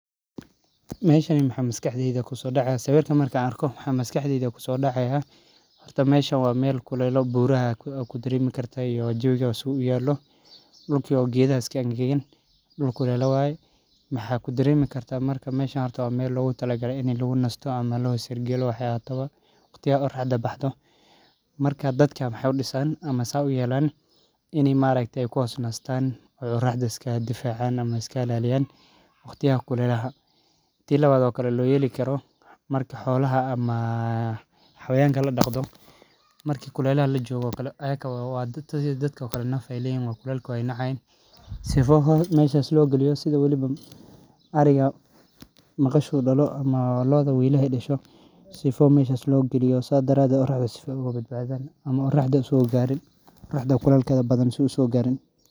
Meshani maxaa maskaxda kusodaca horta meshan waa meel kule dul kulela waye marka dadka maxee u disan in ee ku hos nistan marki kulel lajogo iyaga naf ayey leyihin kulel majeclah marki ee dalan ama ee xanun san uihin sifa kulelka ee uso garin aya halkan lagaliya.